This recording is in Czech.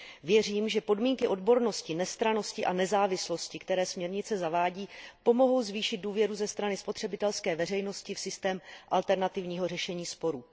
Věřím, že podmínky odbornosti, nestrannosti a nezávislosti, které směrnice zavádí, pomohou zvýšit důvěru ze strany spotřebitelské veřejnosti v systém alternativního řešení sporů.